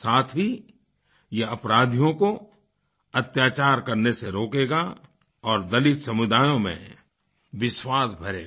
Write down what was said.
साथ ही यह अपराधियों को अत्याचार करने से रोकेगा और दलित समुदायों में विश्वास भरेगा